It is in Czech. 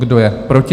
Kdo je proti?